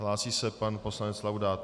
Hlásí se pan poslanec Laudát.